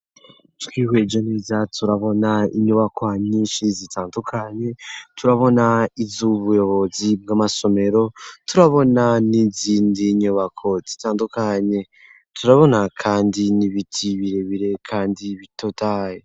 Twihweje neza, turabona inyubako nyinshi zitandukanye, turabona iz'ubuyobozi bw'amasomero, turabona n'izindi nyubako zitandukanye, turabona kandi n'ibiti birebire kandi bitotahaye.